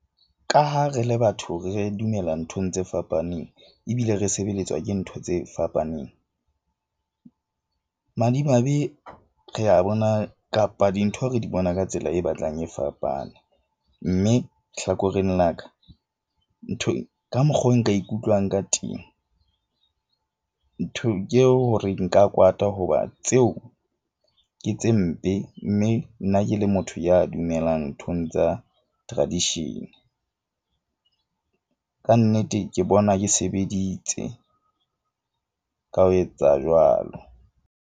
Ka ha re le batho, re dumela nthong tse fapaneng. Ebile re sebeletswa ke ntho tse fapaneng. Madimabe, re a bona kapa dintho, re di bona ka tsela e batlang e fapane. Mme hlakoreng la ka ka mokgo nka ikutlwang ka temo. Ntho ke eo hore nka kwata hoba tseo ke tse mpe. Mme nna ke le motho ya dumelang nthong tsa tradition-e. Kannete ke bona, ke sebeditse ka ho etsa jwalo.